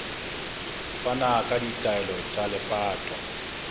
fana ka ditaelo tsa lepato